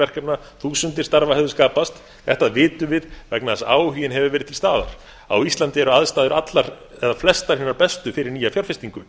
verkefna þúsundir starfa hefðu skapast þetta vitum við vegna þess að áhuginn hefur verið til staðar á íslandi eru aðstæður allar eða flestar hinar bestu fyrir nýja fjárfestingu